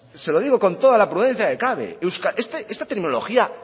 se lo digo con toda la prudencia que cabe esta tecnología